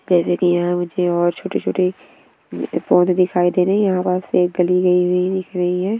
जिसकी यहाँ मुझे और छोटे-छोटे पौधे दिखाई दे रहे हैं यहाँ वहाँ से एक गली गयी हुयी दिख रही हैं।